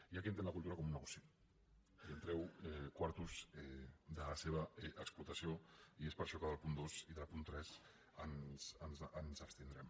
hi ha qui entén la cultura com un negoci i en treu quartos de la seva explotació i és per això que en el punt dos i en el punt tres ens abstindrem